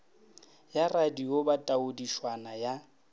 ya radio ba taodišwana ya